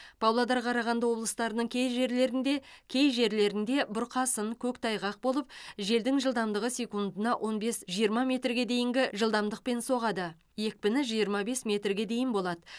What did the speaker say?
павлодар қарағанды облыстарының кей жерлерінде кей жерлерінде бұрқасын көктайғақ болып желдің жылдамдығы секундына он бес жиырма метрге дейінгі жылдамдықпен соғады екпіні жиырма бес метрге дейін болады